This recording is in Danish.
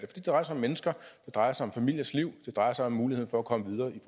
det drejer sig om mennesker det drejer sig om familiers liv det drejer sig om muligheden for at komme videre i